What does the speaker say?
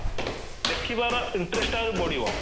ଦେଖିବାର interest ଆହୁରି ବଢିବ